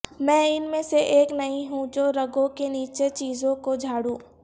میں ان میں سے ایک نہیں ہوں جو رگوں کے نیچے چیزوں کو جھاڑو